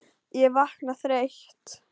Ég vakna þreytt.